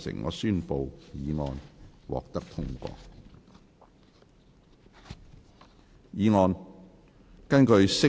我宣布議案獲得通過。